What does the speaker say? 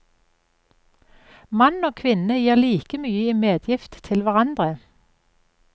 Mann og kvinne gir like mye i medgift til hverandre.